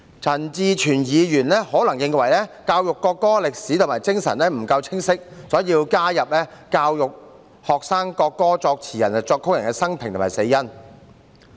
陳志全議員可能認為教育國歌的歷史和精神不夠清晰，所以加入教育學生國歌作詞人和作曲人的生平及死因。